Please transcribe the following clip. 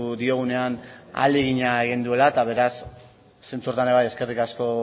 diogunean ahalegina egin duela eta beraz zentzu horretan ere eskerrik asko